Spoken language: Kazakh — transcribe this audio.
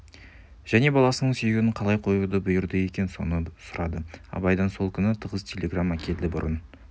және баласының сүйегін қалай қоюды бұйырады екен соны сұрады абайдан сол күні тығыз телеграмма келді бұрын